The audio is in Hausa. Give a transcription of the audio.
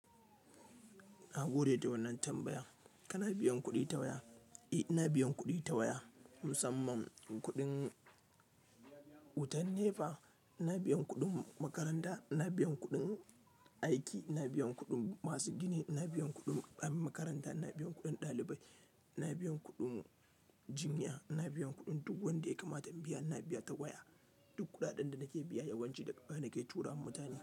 Na gode da wannan tambaya. Kana biyan kuɗi ta waya? Eh, ina biyan kuɗi ta waya, musamman kuɗin wutan NEPA, ina biyan kuɗin makaranta, ina biyan kuɗin aiki, ina biyan kuɗin masu giniina makaranta, ina biyan kuɗin ɗalibai, ina biyan kuɗin jinya, ina biyan kuɗin duk wanda ya kamata in biya, ina biya ta waya. Duk kuɗaɗen da nake biya yawanci daga waya nake tura ma mutane.